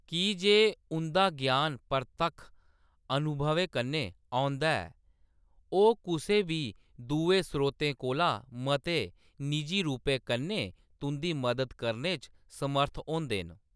की जे उंʼदा ग्यान परतक्ख अनुभवै कन्नै औंदा ऐ, ओह्‌‌ कुसै बी दुए स्रोतें कोला मते निजी रूपै कन्नै तुंʼदी मदद करने च समर्थ होंदे न।